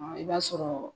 I b'a sɔrɔ